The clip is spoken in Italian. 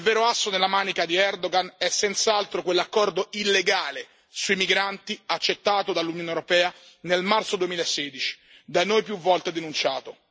Ma il vero asso nella manica di Erdogan è senz'altro quell'accordo illegale sui migranti accettato dall'Unione europea nel marzo 2016, da noi più volte denunciato.